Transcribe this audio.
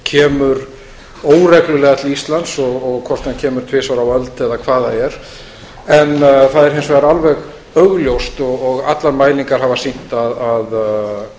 kemur óreglulega til íslands og hvort hann kemur tvisvar á öld eða hvað það er en það er hins vegar alveg augljóst og allar mælingar hafa sýnt það að